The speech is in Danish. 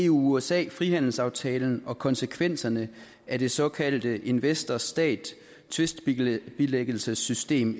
usa frihandelsaftalen og konsekvenserne af det såkaldte investor stat tvistbilæggelsessystem